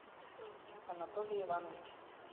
анатолий иванович